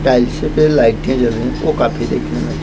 टाइल्सें पे लाइटें लगे वो काफी देखने में--